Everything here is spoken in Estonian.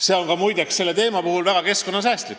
See on muide ka väga keskkonnasäästlik.